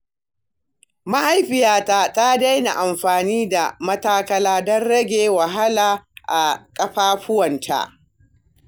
Mahaifiyata ta daina amfani da matakala don rage wahala a ƙafafuwanta.